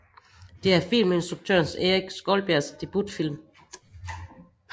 Det er filminstruktøren Erik Skjoldbjærgs debutfilm